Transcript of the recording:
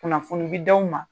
Kunnafoni bi d'aw ma